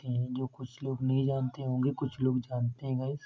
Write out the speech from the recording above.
ह जो कुछ लोग नहीं जानते होंगे कुछ लोग जानते है गाइस --